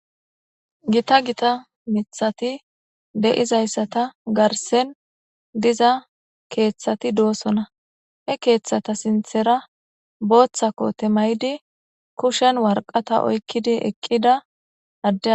Gita gita mithati de7izayssata garsen diza keeththati doosona he keeththata sinthera booththako temaydi kushen warqata oykkidi eqqida adde